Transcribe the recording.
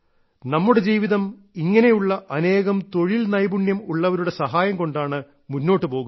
നമ്മുടെ ജീവിതം ഇങ്ങനെയുള്ള അനേകം തൊഴിൽ നൈപുണ്യം ഉള്ളവരുടെ സഹായം കൊണ്ടാണ് മുന്നോട്ടുപോകുന്നത്